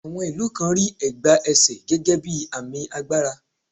À̀wọn ìlú kan rí ẹ̀gbá ẹsè gẹ́gẹ́ bí àmì agbára.